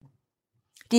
DR2